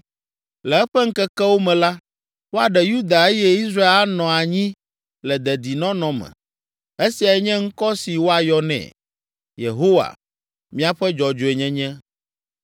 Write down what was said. Le eƒe ŋkekewo me la, woaɖe Yuda eye Israel anɔ anyi le dedinɔnɔ me. Esiae nye ŋkɔ si woayɔ nɛ: Yehowa, Míaƒe Dzɔdzɔenyenye.